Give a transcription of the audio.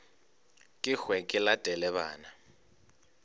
ke hwe ke latele bana